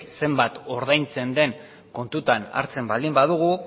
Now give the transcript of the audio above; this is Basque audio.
zenbat ordaintzen den kontutan hartzen baldin badugu